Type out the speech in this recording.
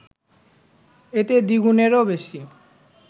এতে দ্বিগুণেরও বেশি